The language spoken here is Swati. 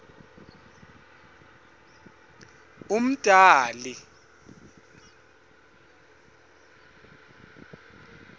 umdali